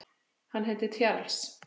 Hann heitir Charles